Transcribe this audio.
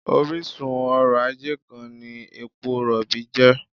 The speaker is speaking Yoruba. Orísun ọrọ̀-ajé kan ni epo rọ̀bì jẹ́